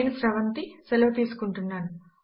నేను శ్రీహర్ష సెలవు తీసుకుంటాను